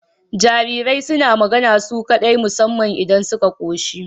Jarirai suna magana su kaɗai musamman idan suka koshi